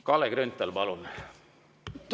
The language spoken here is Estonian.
Kalle Grünthal, palun!